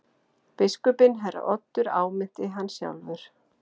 Biskupinn herra Oddur áminnti hann sjálfur.